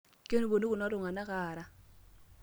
Kepuonu kulo tungana aara.